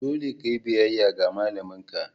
Dole ka yi biyayya ga malamin ka!